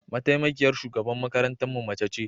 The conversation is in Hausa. Mataimakiyar shugaban makarantarmu mace ce.